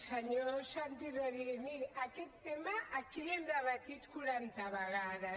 senyor santi rodríguez miri aquest tema aquí l’hem debatut quaranta vegades